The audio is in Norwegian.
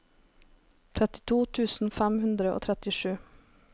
trettito tusen fem hundre og trettisju